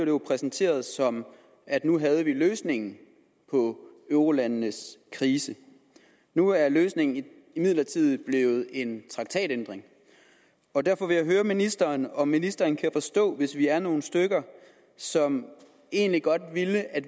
jo præsenteret som at nu havde vi løsningen på eurolandenes krise nu er løsningen imidlertid blevet en traktatændring derfor vil jeg høre ministeren om ministeren kan forstå hvis vi er nogle stykker som egentlig godt ville at